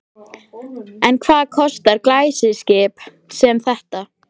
En hvað kostar glæsiskip sem þetta?